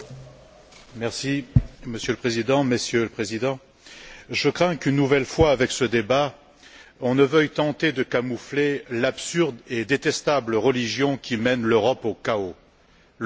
Monsieur le Président, Messieurs les Présidents, je crains qu'une nouvelle fois avec ce débat, on ne veuille tenter de camoufler l'absurde et détestable religion qui mène l'Europe au chaos l'austérité pour les peuples.